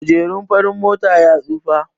Kujerun farin motar ya tsufa